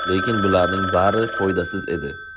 Lekin bularning bari foydasiz edi.